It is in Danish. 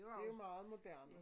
Det meget moderne